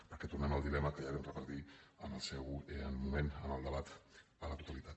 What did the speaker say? perquè tornem al dilema que ja vam repetir en el seu moment en el debat a la totalitat